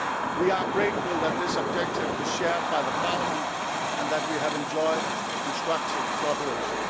We are grateful that this objective is shared by Parliament and that we have enjoyed constructive cooperation.